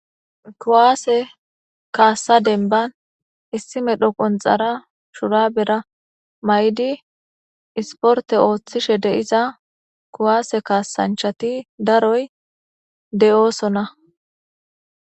kuwaase kaassa denban issime dho qonxara shura bera may'di isporte ooththishe deiza kuwaase kaasanchati daroy deyoosona.